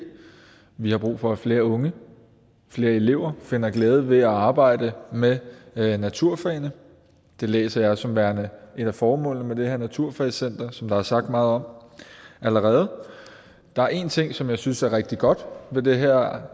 vi har brug for at flere unge flere elever finder glæde ved at arbejde med med naturfagene det læser jeg som værende et af formålene med det her naturfagscenter som der er sagt meget om allerede der er én ting som jeg synes er rigtig godt ved det her